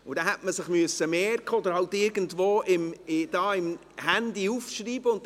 Diesen hätte man sich merken oder irgendwo im Handy aufschreiben sollen.